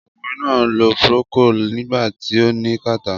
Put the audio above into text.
Ọkùnrin náà lo Procold nígbà tí ó ní kàtá.